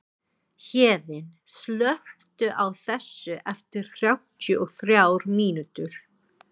Héðinn, slökktu á þessu eftir þrjátíu og þrjár mínútur.